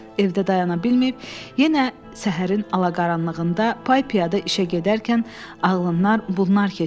Evdə dayana bilməyib, yenə səhərin alaqaranlığında, pay-piyada işə gedərkən ağlından bunlar-bunlar keçirdi.